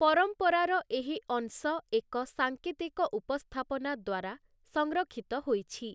ପରମ୍ପରାର ଏହି ଅଂଶ ଏକ ସାଙ୍କେତିକ ଉପସ୍ଥାପନା ଦ୍ୱାରା ସଂରକ୍ଷିତ ହୋଇଛି ।